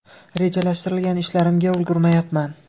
Rejalashtirilgan ishlarimga ulgurmayapman.